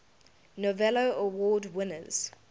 novello award winners